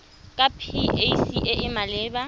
ke pac e e maleba